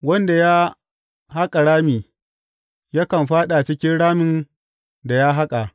Wanda ya haƙa rami yakan fāɗa cikin ramin da ya haƙa.